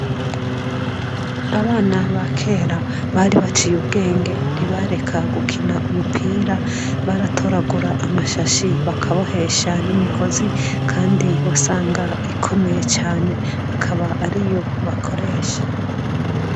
Abana ba kera bari baciye ubwenge, ntibareka gukina umupira baratoragura amashashi bakabohesha n'imigozi kandi wasanga ikomeye cane, akaba ariyo bakoresha.